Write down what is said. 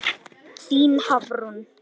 Þín Hafrún.